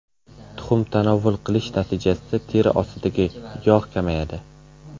Tuxum tanovvul qilish natijasida teri ostidagi yog‘ kamayadi.